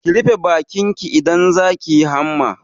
Ki rufe bakin ki idan za ki yi hamma!